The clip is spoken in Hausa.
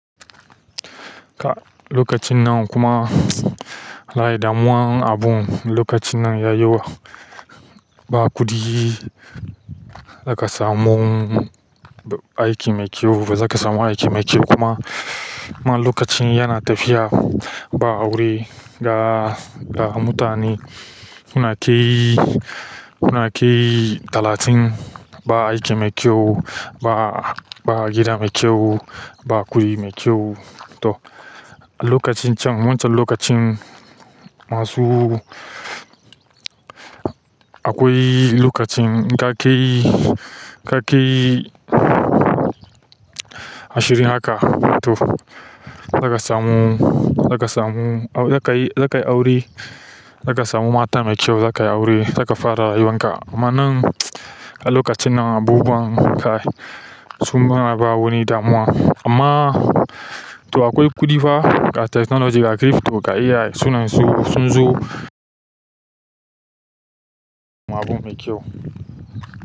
Ka lokacin nan kuma wallaye da muwan abun lokacin nan ya yi wa ba kuɗi da ka samun aiki mai kyau, ba za ka samu aiki mai kyau kuma. Kuma lokacin yana tafiya ba aure ga, ga mutane suna kai, suna kai talatin ba aiki mai kyau, ba, ba gida mai kyau, ba kuɗi mai kyau to. Lokacin can wancan lokacin masu akwai lokacin ka kai, ka kai ashirin haka to, za ka samu, za ka samu, za ka yi, za ka yi aure, za ka samu mata mai kyau, za ka yi aure, za ka fara rayuwan ka. Amma nan a lokacin nan abubuwan kai sun fara ba wani damuwa. Amma to akwai kuɗi fa ga technology ga crypto ga AI suna su sun zo abu mai kyau.